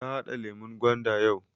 Ta haɗa lemun gwanda yau